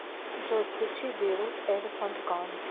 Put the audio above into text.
джой включи бейрут элефант ган